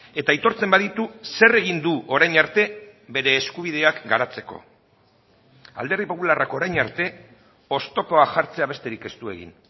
eta aitortzen baditu zer egin du orain arte bere eskubideak garatzeko alderdi popularrak orain arte oztopoa jartzea besterik ez du egin